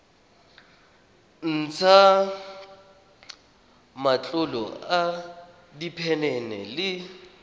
ntsha matlolo a diphenene le